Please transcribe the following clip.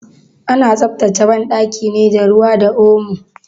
Ana tsaftace banɗaki ne da ruwa da omo.